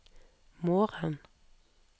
morgen